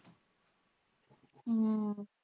ਹਮ